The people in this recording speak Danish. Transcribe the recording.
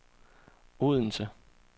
Odense